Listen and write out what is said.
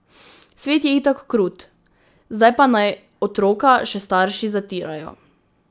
Svet je itak krut, zdaj pa naj otroka še starši zatirajo.